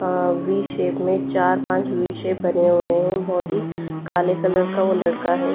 We shape में चार पांच वी शेप बने हुए हैं बहुत ही काले कलर का वो लड़का है।